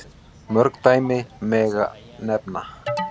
Mörg fleiri dæmi megi nefna.